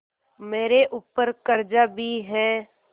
मेरे ऊपर कर्जा भी है